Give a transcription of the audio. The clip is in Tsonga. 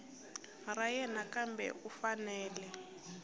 ra yena kambe u fanele